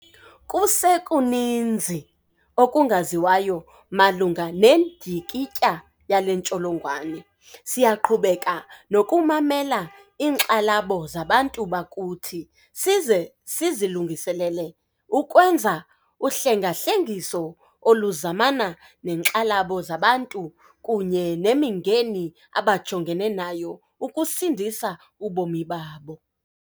Kusekuninzi okungaziwayo malunga nendyikityha yale ntsholongwane. Siyaqhubeka nokumamela iinkxalabo zabantu bakuthi size silungiselele ukwenza uhlengahlengiso oluzamana neenkxalabo zabantu kunye nemingeni abajongene nayo ukusindisa ubomi babo.